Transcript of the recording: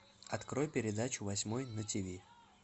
открой передачу восьмой на тв